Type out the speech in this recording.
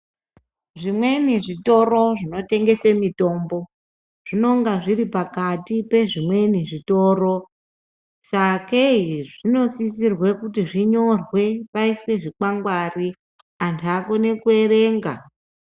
Zvimweni zvitoro zvinotengese mitombo zvinonga zviri pakati pezvimweni zvitoro sakei zvinosisirwe kuti zvinyorwe paiswe zvikwangwari anhu akone kuerenga.